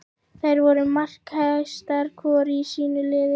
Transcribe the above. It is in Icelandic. Þær voru markahæstar hvor í sínu liði.